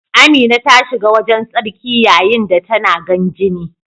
Amina ta shiga wajen tsarki yayin da tana gan jini.